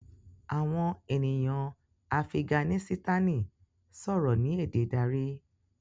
Àwọn ènìyàn Afiganisitani sòrò ní èdè darí.